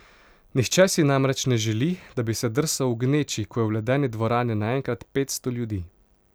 Nihče si namreč ne želi, da bi se drsal v gneči, ko je v ledni dvorani naenkrat petsto ljudi.